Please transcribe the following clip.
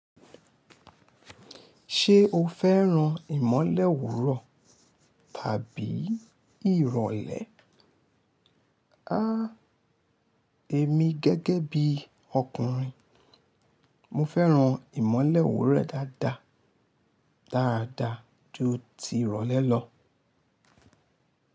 Ṣé o fẹ́ran ìmọ̀lẹ́ owúrọ̀ tàbí ìrọ̀lẹ́? Háá, èmi gẹ́gẹ́ bí ọkùnrin, mo fẹ́ran ìmọ̀lẹ́ owúrọ̀ dáadáa, dáadáa ju ti ìrọ̀lẹ́ lọ.